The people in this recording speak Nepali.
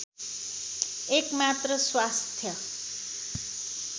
एकमात्र स्वास्थ